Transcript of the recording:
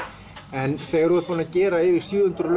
en þegar þú ert búinn að gera yfir sjö hundruð